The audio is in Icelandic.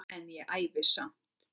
En ævi samt.